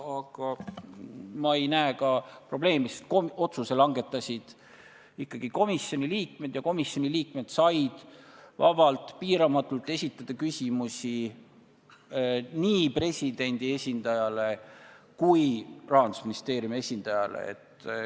Aga ma ei näe siin probleemi, sest otsuse langetasid ikkagi komisjoni liikmed ja nad said vabalt, piiramatult esitada küsimusi nii presidendi esindajale kui ka Rahandusministeeriumi esindajale.